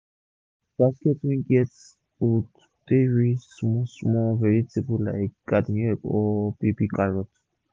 use basket wey get hold take rinse small small vegetable like garden egg or baby carrot